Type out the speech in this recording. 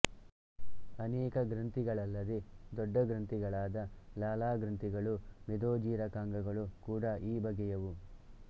ಅನೇಕ ಗ್ರಂಥಿಗಳಲ್ಲದೇ ದೊಡ್ಡ ಗ್ರಂಥಿಗಳಾದ ಲಾಲಾಗ್ರಂಥಿಗಳು ಮೇದೋಜೀರಕಾಂಗಗಳು ಕೂಡ ಈ ಬಗೆಯವು